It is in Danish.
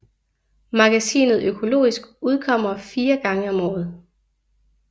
Magasinet Økologisk udkommer 4 gange om året